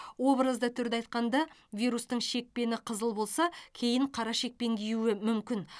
образды түрде айтқанда вирустың шекпені қызыл болса кейін қара шекпен киюі мүмкін